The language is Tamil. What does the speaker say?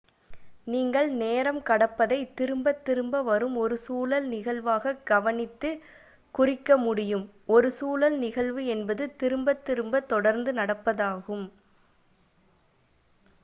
நீங்கள் நேரம் கடப்பதை திரும்பத் திரும்ப வரும் ஒரு சுழல் நிகழ்வாக கவனித்து குறிக்க முடியும் ஒரு சுழல் நிகழ்வு என்பது திரும்பத் திரும்ப தொடர்ந்து நடப்பதாகும்